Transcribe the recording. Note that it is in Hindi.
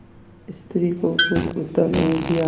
स्त्री को कुछ उत्तर नहीं दिया